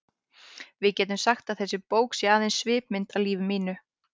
Við getum sagt að þessi bók sé aðeins svipmynd af lífi mínu.